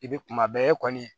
I bɛ kuma bɛɛ e kɔni